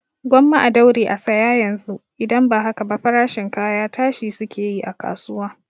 Gwamma a daure a saya yanzu, idan ba haka ba farashin kaya tashi suke yi a kasuwa